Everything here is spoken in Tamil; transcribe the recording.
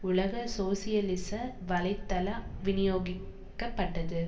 உலக சோசியலிச வலைத்தள விநியோகிக்கப்பட்டது